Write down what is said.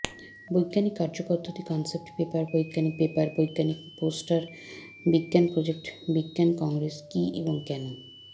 বৈজ্ঞানিক কার্যপদ্ধতি concept paper বৈজ্ঞানিক পেপার বৈজ্ঞানিক পোস্টার বিজ্ঞান প্রজেক্ট বিজ্ঞান কংগ্রেস কী এবং কেন